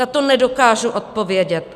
Na to nedokážu odpovědět.